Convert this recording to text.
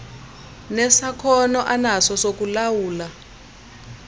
nesakhono anaso sokulawula